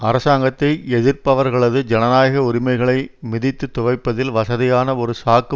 அரசாங்கத்தை எதிர்ப்பவர்களது ஜனநாயக உரிமைகளை மிதித்து துவைப்பதில் வசதியான ஒரு சாக்கு